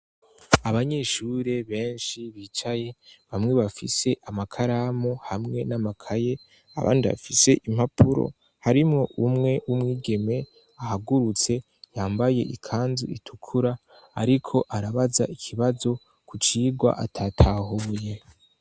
Abanyeshuri benshi bicaye bamwe bafise amakaramu hamwe n'amakaye, abandi bafise impapuro, harimo umwe w'umwigeme ahagurutse yambaye ikanzu itukura ariko arabaza ikibazo ku cirwa atatahuye.